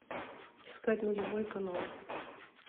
искать нулевой канал